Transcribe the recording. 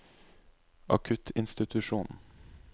akuttinstitusjonen